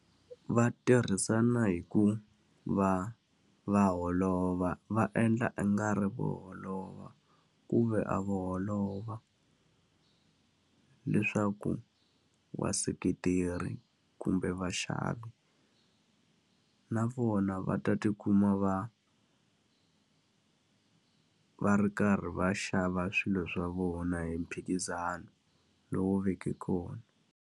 Va tirhisana hi ku va va holova, va endla ingari vo holova ku ve a vo holova, leswaku vaseketeri kumbe vaxavi na vona va ta tikuma va va ri karhi va xava swilo swa vona hi mphikizano lowu veke kona.